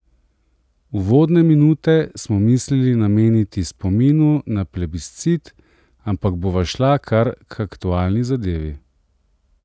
Uvodne minute smo mislili nameniti spominu na plebiscit, ampak bova šla kar k aktualni zadevi.